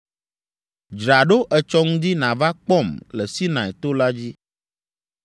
Dzra ɖo etsɔ ŋdi nàva kpɔm le Sinai to la dzi.